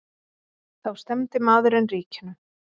Þá stefndi maðurinn ríkinu.